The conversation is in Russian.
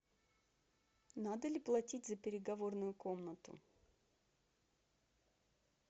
надо ли платить за переговорную комнату